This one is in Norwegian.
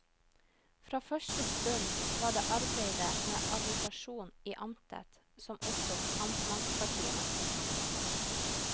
Fra første stund var det arbeidet med agitasjon i amtet som opptok amtspartiet mest.